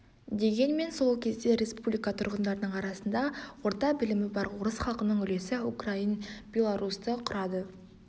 дегенмен сол кезде республика тұрғындарының арасында орты білімі бар орыс халқының үлесі украин белорус ды құрады